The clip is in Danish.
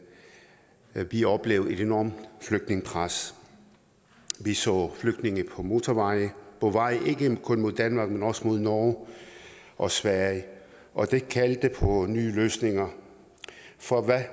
at vi oplevede et enormt flygtningepres vi så flygtninge på motorvejene på vej ikke kun mod danmark men også mod norge og sverige og det kaldte på nye løsninger for hvad